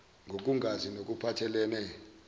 nokungazi ngokuphathel ene